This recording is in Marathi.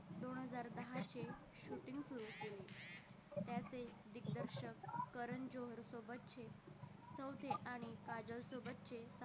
दोन हजार दहाचे shooting सुरु केले त्याचे दिग्दर्शक कारण जोहर सोबतचे चौथे आणि काजोल सोबतचे